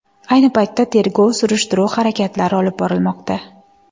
Ayni paytda tergov-surishtiruv harakatlari olib borilmoqda.